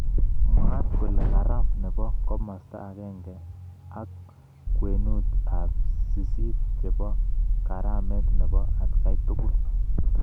Mwat kolegarama nebo komasta akenge ik kwenut ab sisit chebo karamet nebo akgaitukul.